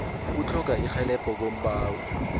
ukutlhoga irhelebho kombawi